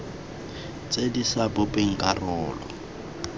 tse di sa bopeng karolo